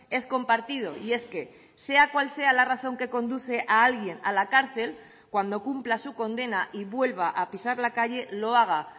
es compartido y es que sea cual sea la razón que conduce a alguien a la cárcel cuando cumpla su condena y vuelva a pisar la calle lo haga